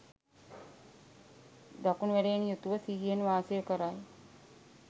දකුණු ඇලයෙන් යුතුව සිහියෙන් වාසය කරයි.